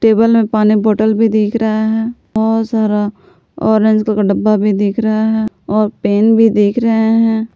Table में पानी bottle भी दिख रहा है बहुत सारा ऑरेंज कलर का डब्बा भी दिख रहा है और पेन भी दिख रहे हैं।